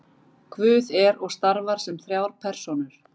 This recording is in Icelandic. guð er og starfar sem þrjár persónur